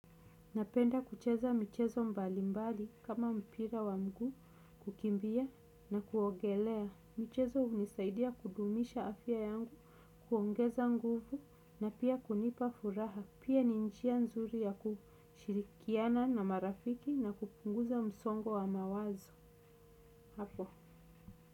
Napenda kucheza michezo mbali mbali kama mpira wa mguu kukimbia na kuogelea. Michezo hunisaidia kudumisha afya yangu, kuongeza nguvu na pia kunipa furaha. Pia ni njia nzuri ya kushirikiana na marafiki na kupunguza msongo wa mawazo. Hapo.